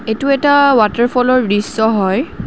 এইটো এটা ৱাটাৰফলৰ দৃশ্য হয়।